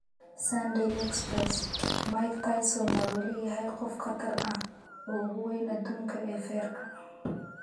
(Sunday Express) Mike Tyson ma weli yahay 'qof khatar ah' oo ugu weyn adduunka ee feerka?